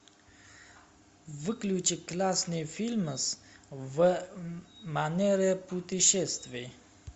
включи классный фильмас в манере путешествий